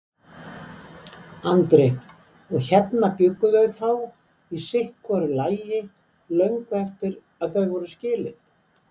Andri: Og hérna bjuggu þau þá í sitthvoru lagi löngu eftir að þau voru skilin?